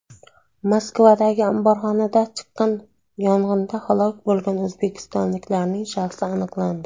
Moskvadagi omborxonada chiqqan yong‘inda halok bo‘lgan o‘zbekistonliklarning shaxsi aniqlandi.